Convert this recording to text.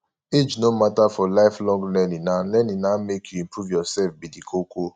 age no matter for lifelong learning na learning na make you improve yourself be the koko